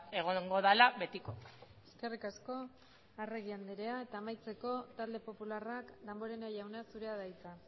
egongo dela betiko eskerrik asko arregi anderea amaitzeko talde popularrak damborenea jauna zurea da hitza